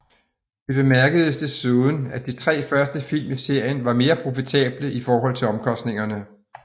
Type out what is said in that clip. Det bemærkedes desuden at de tre første film i serien var mere profitable i forhold til omkostningerne